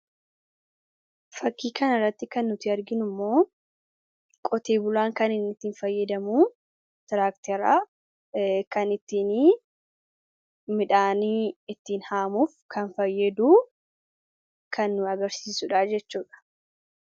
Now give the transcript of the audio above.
fakkii kan irratti kan nuti arginu immoo qoteebulaan kaninniittiin fayyadamuu tiraakteraa kan ittiin midhaanii ittiin haamuuf kan fayyaduu kan agarsiisuudha jechuudha